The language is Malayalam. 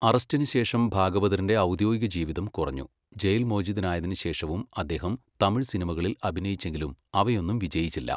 അറസ്റ്റിന് ശേഷം ഭാഗവതറിന്റെ ഔദ്യോദിക ജീവിതം കുറഞ്ഞു, ജയിൽ മോചിതനായതിന് ശേഷവും അദ്ദേഹം തമിഴ് സിനിമകളിൽ അഭിനയിച്ചെങ്കിലും അവയൊന്നും വിജയിച്ചില്ല.